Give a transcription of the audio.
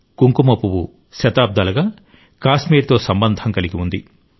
కుంకుమ పువ్వు శతాబ్దాలుగా కాశ్మీర్తో సంబంధం కలిగి ఉంది